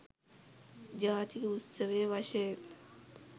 ජාතික උත්සවය වශයෙන්